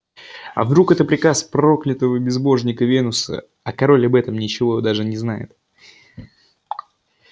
а вдруг это приказ проклятого безбожника венуса а король об этом ничего даже не знает